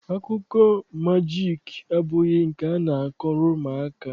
akụkọ majiiki abụghị nke a na-akọrọ ụmụaka.